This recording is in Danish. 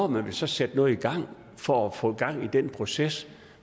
man så sætte noget i gang for at få gang i den proces